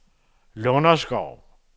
Lunderskov